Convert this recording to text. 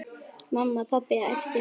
Mamma, pabbi æpti hún.